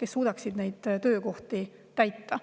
kes suudaksid neid töökohti täita.